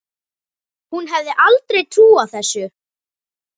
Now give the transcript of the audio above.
Hún hefði aldrei trúað þessu.